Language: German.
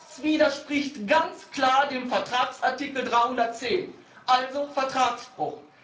Das widerspricht ganz klar dem Vertragsartikel 310 also Vertragsbruch!